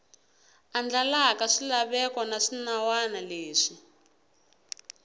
andlalaka swilaveko na swinawana leswi